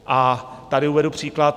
A tady uvedu příklad.